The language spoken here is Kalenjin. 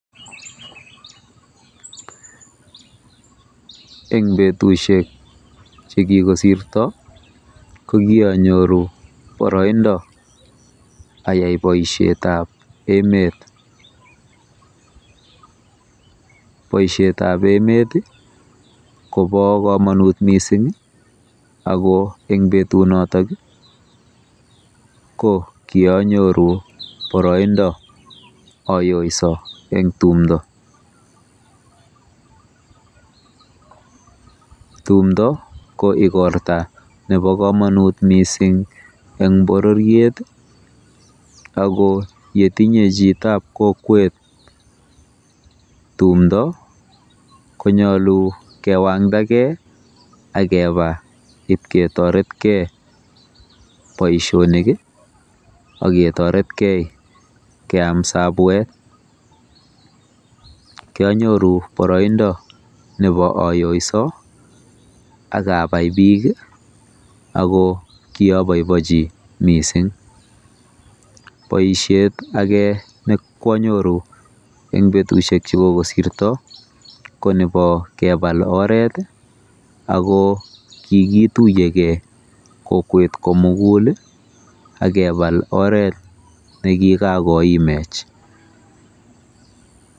Eng betusiek chekikosirto kokionyoru boroindo ayai boisietab emet. Boisietab emet ko bo komonut mising ako eng betunoto ko kianyoru boroindo ayoiso eng tumdo. Tumdo ko ikorta nebo komonut mising eng bororiet ako yetinye chito eng kokwet tumdo konyolu kiwangdagei akeba ipketoretkei boisionik aketoretkei keam sabwet. Kianyoru boroindo nebo ayoiso akabai bik ako kiabaibaitu mising. Boisiet ake nekoonyoru eng betusiek chekikosirto ko nebo kepal orat ako kikituiyekei kokwet komugul akebal oret nekikakoimech.